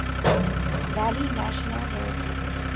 valley national heritage